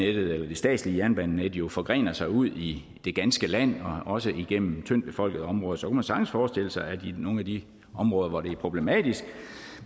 det statslige jernbanenet jo forgrener sig ud i det ganske land og også igennem tyndtbefolkede områder så kunne man sagtens forestille sig at i nogle af de områder hvor det er problematisk